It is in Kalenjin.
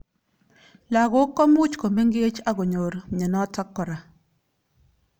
Lakok komuch komengech akonyor mnyenot kora.